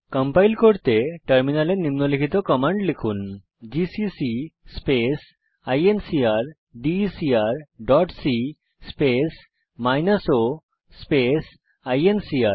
compile করতে টার্মিনালে নিম্নলিখিত কমান্ড লিখুন জিসিসি স্পেস ইনকারডেকার dot c space minus o space INCR